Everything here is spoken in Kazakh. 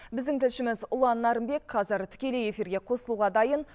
біздің тілшіміз ұлан нарынбек қазір тікелей эфирге қосылуға дайын